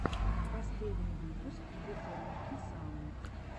последний выпуск газировки саунд